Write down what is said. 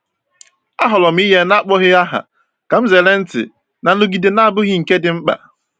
Ahọọrọ m inye n’akpọghị aha ka m zere ntị na nrụgide na-abụghị nke dị mkpa.